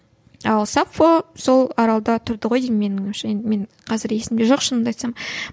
ал саффо сол аралда тұрды ғой деймін менің ойымша енді мен қазір есімде жоқ шынымды айтсам